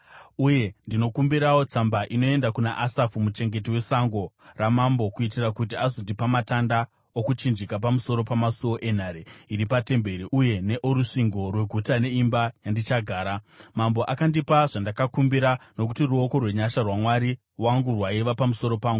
Uye ndinokumbirawo tsamba inoenda kuna Asafi, muchengeti wesango ramambo, kuitira kuti azondipa matanda okuchinjika pamusoro pamasuo enhare iri patemberi uye neorusvingo rweguta neeimba yandichagara?” Mambo akandipa zvandakakumbira, nokuti ruoko rwenyasha rwaMwari wangu rwaiva pamusoro pangu.